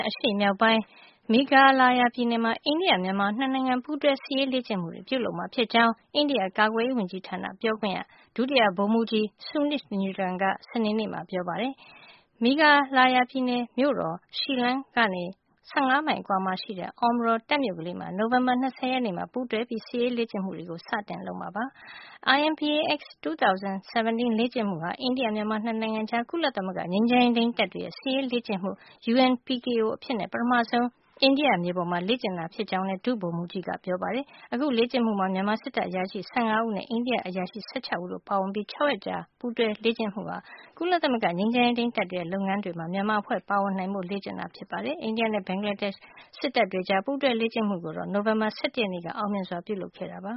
အရှေ့မြောက်ပိုင်း Meghalaya ပြည်နယ်မှာ အိန္ဒိယ မြန်မာ နှစ်နိုင်ငံ ပူးတွဲ စစ်ရေးလေ့ကျင့်မှုတွေ ပြုလုပ်မှာဖြစ်ကြောင်း အိန္ဒိယကာကွယ်ရေးဝန်ကြီးဌာန ပြောခွင့်ရ ဒုတိယဗိုလ်မှူးကြီး Suneet Newton က စနေနေ့မှာ ပြောပါတယ်။ Meghalaya ပြည်နယ်မြို့တော် Shillong ကနေ ၁၅ မိုင်အကွာမှာရှိတဲ့ Umroi တပ်မြို့ကလေးမှာ နိုဝင်ဘာလ ၂၀ ရက်ကျရင် ပူးတွဲ စစ်ရေးလေ့ကျင့်မှုတွေ စတင် ပြုလုပ်မှာဖြစ်ပါတယ်။ IMBAX-2017 လေ့ကျင့်မှုဟာ အိန္ဒိယ-မြန်မာ နှစ်နိုင်ငံကြား ကုလသမဂ္ဂ ငြိမ်းချမ်းရေးထိန်းသိမ်းမှုတပ်တွေရဲ့ စစ်ရေးလေ့ကျင့်မှု UNPKO အဖြစ် ပထမဆုံး အိန္ဒိယမြေပေါ်မှာ လေ့ကျင့်တာဖြစ်ကြောင်းလဲ ဒုဗိုလ်မှူးကြီး Newton က ပြောပါတယ်။ အခုလေ့ကျင့်မှုမှာ မြန်မာစစ်တပ်အရာရှိ ၁၅ ဦးနဲ့ အိန္ဒိယအရာရှိ ၁၆ ဦးတို့ပါဝင်ပြီး အခုလို ၆ ရက်ကြာ ပူးတွဲ စစ်ရေးလေ့ကျင့်မှုဟာ ကုလသမဂ္ဂ ငြိမ်းချမ်းရေးထိန်းတပ်တွေရဲ့ လုပ်ငန်းတွေမှာ မြန်မာအဖွဲ့ ပါဝင်နိုင်ဖို့ လေ့ကျင့်တာ ဖြစ်ပါတယ်။ အိန္ဒိယနဲ့ ဘင်္ဂလားဒေ့ရှ် စစ်တပ်တွေကြား ပူးတွဲလေ့ကျင့်မှုကိုတော့ နိုဝင်ဘာလ ၁၁ ရက်နေ့က အောင်မြင်စွာ ပြုလုပ်ခဲ့ပ